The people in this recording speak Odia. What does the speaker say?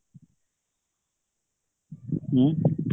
ଉଁ